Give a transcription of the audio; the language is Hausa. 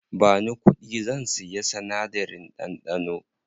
Bani kuɗi, zan siya sinadarin ɗanɗano.